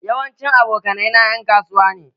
Yawancin abokanai na en kasuwa ne.